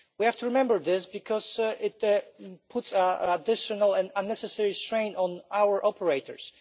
We have to remember this because it puts additional and unnecessary strain on our operators.